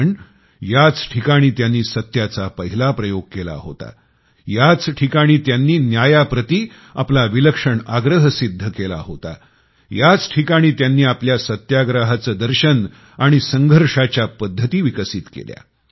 कारण याच ठिकाणी त्यांनी सत्याचा पहिला प्रयोग केला होता याच ठिकाणी त्यांनी न्यायाप्रति आपला विलक्षण आग्रह सिद्ध केला होता याच ठिकाणी त्यांनी आपल्या सत्याग्रहाचे दर्शन आणि संघर्षाच्या पद्धती विकसित केल्या